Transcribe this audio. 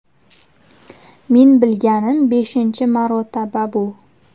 Men bilganim beshinchi marotaba bu.